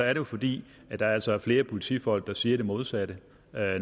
jo fordi der altså er flere politifolk der siger det modsatte